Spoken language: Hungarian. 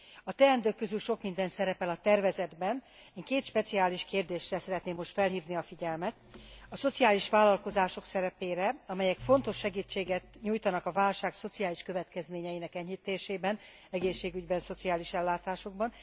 A teendők közül sok minden szerepel a tervezetben, én két speciális kérdésre szeretném most felhívni a figyelmet a szociális vállalkozások szerepére, amelyek fontos segítséget nyújtanak a válság szociális következményeinek enyhítésében, egészségügyben, szociális ellátásokban.